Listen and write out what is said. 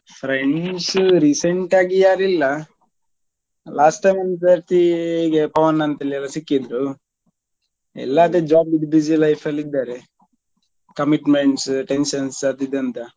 Friends recent ಆಗಿ ಯಾರು ಇಲ್ಲ last time ಒಂದು ಸರ್ತಿ ಹೀಗೆ ಪವನ್ ಅಂತ ಹೇಳುವವ್ನು ಸಿಕ್ಕಿದ್ರು ಎಲ್ಲರದ್ದು job ದ್ದು busy life ಅಲ್ಲಿ ಇದ್ದಾರೆ commitments, tensions ಅದ್ ಇದ್ ಅಂತ.